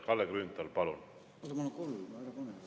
Kalle Grünthal, palun!